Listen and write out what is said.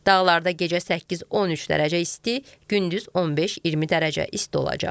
Dağlarda gecə 8-13 dərəcə isti, gündüz 15-20 dərəcə isti olacaq.